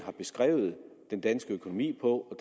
at beskrive den danske økonomi på